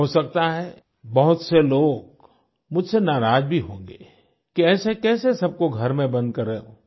हो सकता है बहुत से लोग मुझसे नाराज भी होंगे कि ऐसे कैसे सबको घर में बंद कर रखा है